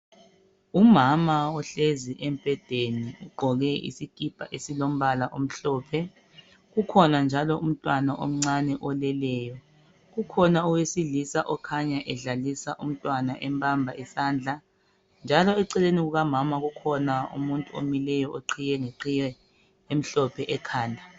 Umama uhlezi embedeni ugqoke isikipa esilombala omhlophe kukhona njalo umntwana omncane oleleyo kukhona owesilisa okhanya edlalisa umntwana embamba isandla njalo eceleni kukamama kukhona umuntu omileyo oqhiye iqhiye emhlophe ekhanda